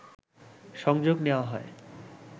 সংযোগ নেওয়া হয়